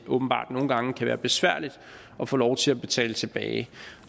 åbenbart nogle gange kan være besværligt at få lov til at betale tilbage